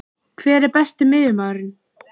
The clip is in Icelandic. Hver er Besti miðjumaðurinn?